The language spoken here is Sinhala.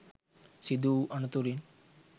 සිදුවූ අනතුරින්